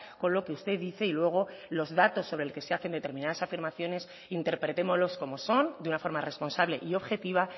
con lo que usted dice y luego los datos sobre el que se hacen determinadas afirmaciones interpretémoslos como son de una forma responsable y objetiva